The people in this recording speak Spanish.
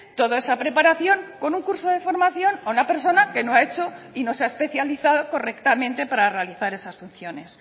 toda esa preparación con un curso de formación a una persona que no ha hecho y no se ha especializado correctamente para realizar esas funciones